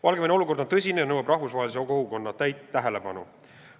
Valgevene olukord on tõsine ja nõuab rahvusvahelise kogukonna täit tähelepanu.